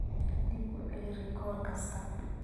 Dib u celi rikoor kasta.